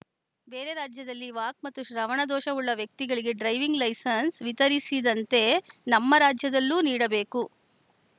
ಬೇರೆ ರಾಜ್ಯದಲ್ಲಿ ವಾಕ್‌ ಮತ್ತು ಶ್ರವಣದೋಷವುಳ್ಳ ವ್ಯಕ್ತಿಗಳಿಗೆ ಡ್ರೈವಿಂಗ್‌ ಲೆಸೆನ್ಸ್‌ ವಿತರಿಸಿದಂತೆ ನಮ್ಮ ರಾಜ್ಯದಲ್ಲೂ ನೀಡಬೇಕು